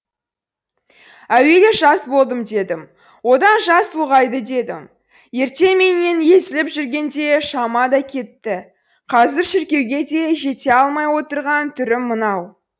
әуелі жас болдым дедім одан жас ұлғайды дедім ертеңменен езіліп жүргенде шама да кетті қазір шіркеуге де жете алмай отырған түрім мынау